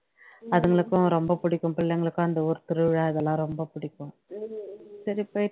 அதுங்களுக்கும் ரொம்ப பிடிக்கும் பிள்ளைங்களுக்கும் அந்த ஊர் திருவிழா இதெல்லாம் ரொம்ப பிடிக்கும் சரி போயிட்டு